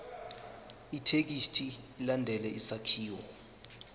ithekisthi ilandele isakhiwo